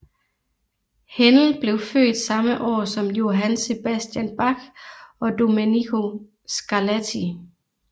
Händel blev født samme år som Johann Sebastian Bach og Domenico Scarlatti